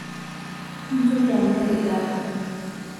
mintoki anyal ilala